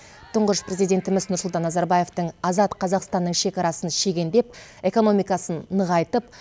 тұңғыш президентіміз нұрсұлтан назарбаевтың азат қазақстанның шекарасын шегендеп экономикасын нығайтып